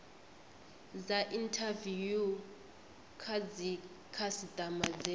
dza inthaviwu kha dzikhasitama dze